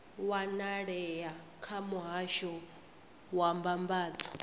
wanalea kha muhasho wa mbambadzo